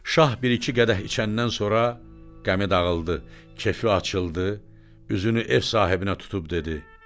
Şah bir-iki qədəh içəndən sonra qəmi dağıldı, kefi açıldı, üzünü ev sahibinə tutub dedi: